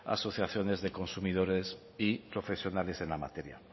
asociaciones de consumidores y profesionales en la materia